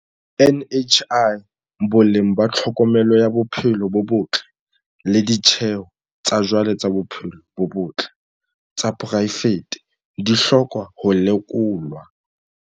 NHI, boleng ba tlhokomelo ya bophelo bo botle le ditjeho tsa jwale tsa bophelo bo botle tsa poraefete di hloka ho lekolwa.